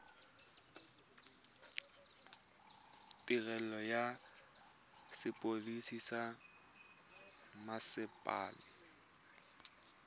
tirelo ya sepodisi sa mmasepala